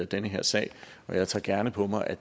den her sag jeg tager gerne på mig at